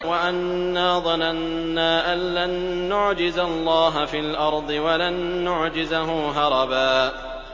وَأَنَّا ظَنَنَّا أَن لَّن نُّعْجِزَ اللَّهَ فِي الْأَرْضِ وَلَن نُّعْجِزَهُ هَرَبًا